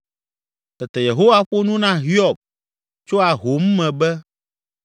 Tete Yehowa ƒo nu na Hiob tso ahom me be,